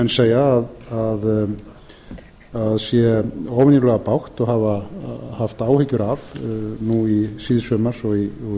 segja að sé óvenjulega bágt og hafa haft áhyggjur af núna í sumar og